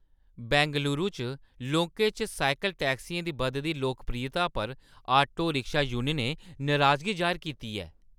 बैंगलुरू च लोकें च साइकल टैक्सियें दी बधदी लोकप्रियता पर आटो-रिक्शा यूनियनें नराजगी जाह्‌र कीती ऐ।